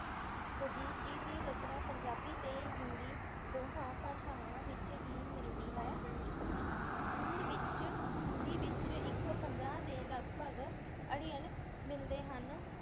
ਵਜੀਦ ਜੀ ਦੀ ਰਚਨਾ ਪੰਜਾਬੀ ਅਤੇ ਹਿੰਦੀ ਦੋਹਾਂ ਭਾਸਾਵਾਂ ਵਿੱਚ ਹੀ ਮਿਲਦੀ ਹੈ। ਹਿੰਦ ਵਿੱਚ, ਹਿੰਦੀ ਵਿੱਚ ਇੱਕ ਸੌ ਪੰਜਾਹ ਦੇ ਲਗਭਗ ਅੜਿੱਲ ਮਿਲਦੇ ਹਨ।